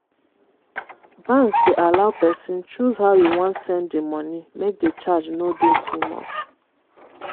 banks dey allow pesin choose how e wan send e money make the charge no dey too much.